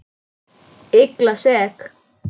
Illa sek.